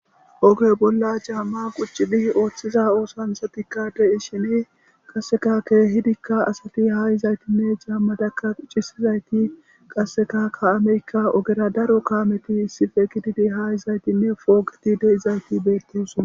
Oge bolla caamma quccidi ooththiza oosanchchatika de'ishini qasseka keehidikka asati haa izaytinne caammazakka quccisizayti qasseka kaameykka ogera daro kaameti issippe gididi haa izaytinne poogeti de'izayti beettesona.